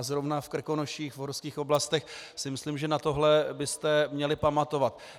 A zrovna v Krkonoších, v horských oblastech si myslím, že na tohle byste měli pamatovat.